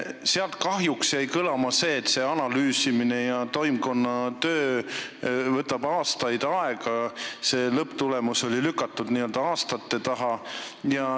Sealt jäi kahjuks kõlama see, et see analüüsimine ja toimkonna töö võtab aastaid aega, see lõpptulemus oli lükatud n-ö aastate taha.